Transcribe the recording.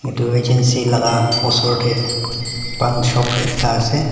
etu agency la ka osor tey pan shop ekta ase.